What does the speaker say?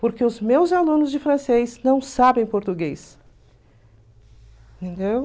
Porque os meus alunos de francês não sabem português. Entendeu?